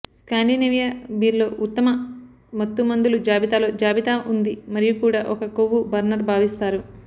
Scandinavia beer లో ఉత్తమ మత్తుమందులు జాబితా లో జాబితా ఉంది మరియు కూడా ఒక కొవ్వు బర్నర్ భావిస్తారు